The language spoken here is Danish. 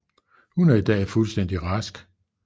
Hun er i dag fuldstændig rask